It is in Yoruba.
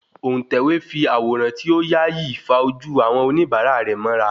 Òun tẹ̀wé fí àwòrán ti o yaa yí fa ojú àwọn oníbàárà rẹ̀ mọ́ra